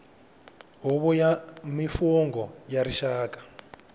huvo ya mimfungho ya rixaka